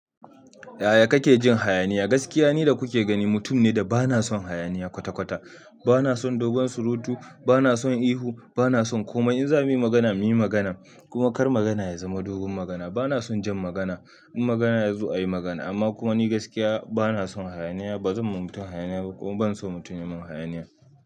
Yaya kake jin hayaniya? Gaskiya ni da kuke gani, mutum ne da bana son hayaniya kwata-kwata. Bana son dogon surutu, bana son ihu, bana son komai. In za mu yi magana, mu yi magana kuma kar magana ya zama dogon magana. Bana son jan magana, in magana yazo a yi magana. Amma kuma ni gaskiya bana son hayaniya. Ba zan ma mutun hayaniya ba kuma ban so mutun ya mun hayaniya.